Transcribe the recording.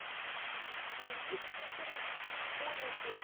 денис игоревич урюпин